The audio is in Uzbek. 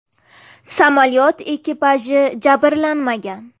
Samolyot ekipaji jabrlanmagan.